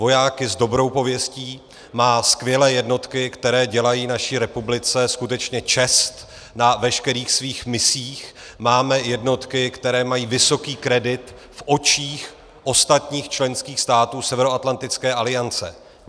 Vojáky s dobrou pověstí, má skvělé jednotky, které dělají naší republice skutečně čest na veškerých svých misích, máme jednotky, které mají vysoký kredit v očích ostatních členských států Severoatlantické aliance.